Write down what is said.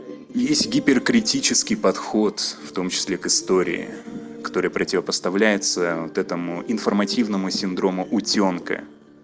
есть гипер критический подход в том числе к истории которая противопоставляется вот этому информативного синдром утёнка